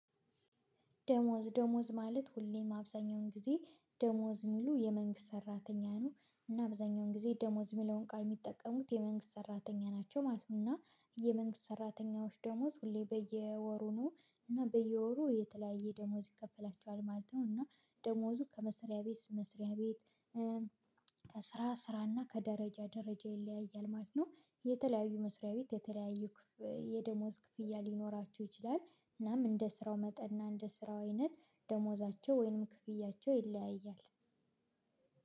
ደሞዝ ደሞዝ ማለት ሁሌም አብዛኛውን ጊዜ ደሞዝ የሚሉ የመንግስት ሰራተኛ ነው እና አብዛኛውን ጊዜ ደሞዝ የሚለውን ቃል የሚጠቀሙት የመንግስት ሰራተኛ ናቸው ማለት ነው። እና የመንግስት ሰራተኞች ደሞዝ ሁሌ በየወሩ ነው። እና በየወሩ የተለያየ ደሞዝ ይከፈላቸዋል ማለት ነው። እና ደሞዙ ከመስሪያ ቤት መስሪያ ቤት። ከስራ ስራ እና ከደረጃ ደረጃ ይለያያል ማለት ነው። የተለያዩ መስሪያ ቤት የተለያዩ የደሞዝ ክፍያ ሊኖራቸው ይችላል። እናም እንደ ስራው መጠን እና እንደ ስራው አይነት ደሞዛቸው ወይንም ክፍያቸው ይለያያል።